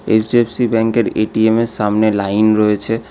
HDFC ব্যাঙ্কের ATM এর সামনে লাইন রয়েছে।